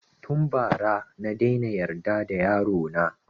Tun ba ra na daina yarda da yaro na